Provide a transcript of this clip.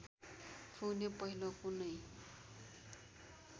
पुग्ने पहिलो कुनै